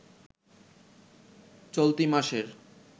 চলতি মাসের